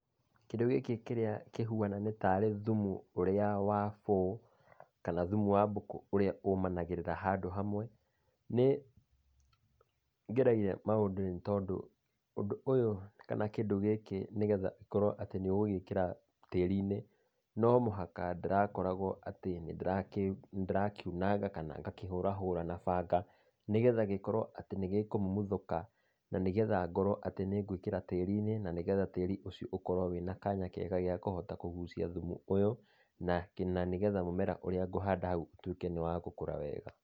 Kĩndũ gĩkĩ kĩrĩa kĩhuana nĩ tarĩ thumu ũrĩa wa bũũ, kana thumu wa mbũkũ ũrĩa ũmanagĩrĩra handũ hamwe, nĩ ngeregia maũndũ tondũ ũndũ ũyũ kana kĩndũ gĩkĩ nĩgetha gĩkorwo atĩ nĩ ũgũgĩĩkĩra tĩriinĩ, no mũhaka ndĩrakoragwo atĩ nĩ ndĩrakiunanga kana ngakĩhũrahũra na banga, nĩgetha gĩkorwo atĩ nĩ gĩkũmumuthũka na nĩgetha gĩkorwo atĩ nĩgĩkũmumuthuka na nĩgetha ngorwo atĩ nĩ ngwĩkĩra tĩriinĩ na nĩgetha tĩri ũcio ũkorwo wĩna kanya ga kũhota kũgucia thumu ũyũ na nĩgetha mũmera ũrĩa ngũhanda hau ũtuĩke nĩ wagũkũra wega.